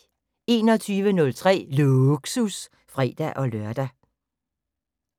21:03: Lågsus (fre-lør)